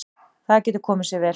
Það getur komið sér vel.